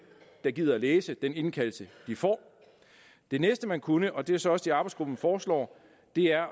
der gider læse den indkaldelse de får det næste man kunne og det er så også det arbejdsgruppen foreslår er